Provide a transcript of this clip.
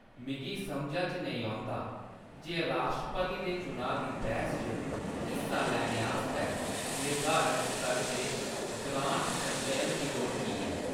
मिगी समझा च नेईं औंदा जे राश्ट्रपति दे चुनाऽ दी बैह्‌‌स च हिस्सा लैने आस्तै निर्धारत स्तर दे ग्रांट संचयन दी लोड़ की ऐ।